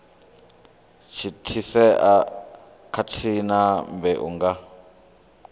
thithisea khathihi na mbeu nga